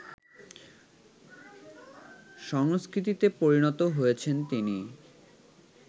সংস্কৃতিতে পরিণত হয়েছেন তিনি